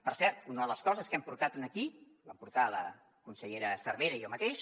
per cert una de les coses que hem portat aquí ho vam portar la consellera cervera i jo mateix